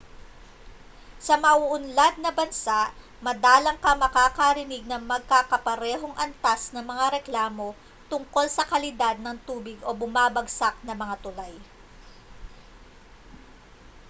sa mauunlad na bansa madalang kang makakarinig ng magkakaparehong antas ng mga reklamo tungkol sa kalidad ng tubig o bumabagsak na mga tulay